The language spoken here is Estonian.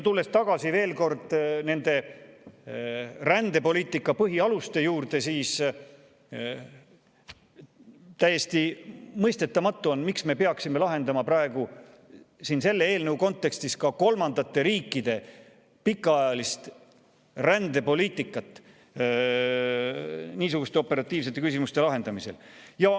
Tulles veel kord tagasi rändepoliitika põhialuste juurde, on täiesti mõistetamatu, miks me peaksime lahendama praegu siin selle eelnõu kontekstis ka kolmandate riikide pikaajalist rändepoliitikat niisuguste operatiivsete küsimuste lahendamisel.